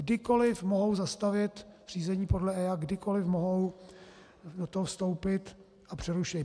Kdykoli mohou zastavit řízení podle EIA, kdykoli mohou do toho vstoupit a přerušit.